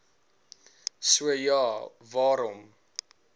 so ja waarom